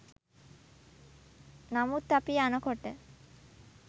නමුත් අපි යන කොට